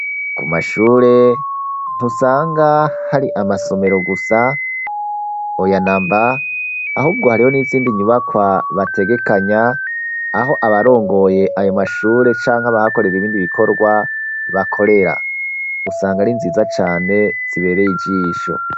Ku mashure ntusanga hari amasomero gusa, oya namba ,ahubwo hariho n'izindi nyubakwa bategekanya aho abarongoye ayo mashure canka bahakorera ibindi bikorwa bakorera. Usanga ari nziza cane zibereye ijisho.